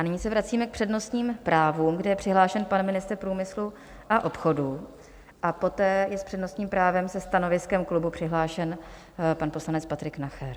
A nyní se vracíme k přednostním právům, kde je přihlášen pan ministr průmyslu a obchodu a poté je s přednostním právem se stanoviskem klubu přihlášen pan poslanec Patrik Nacher.